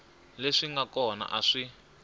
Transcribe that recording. leswi nga kona a swi